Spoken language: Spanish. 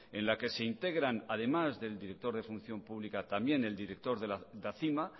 en la que se integran además del director de función pública también el director de acima